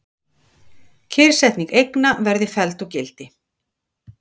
Kyrrsetning eigna verði felld úr gildi